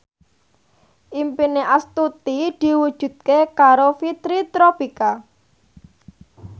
impine Astuti diwujudke karo Fitri Tropika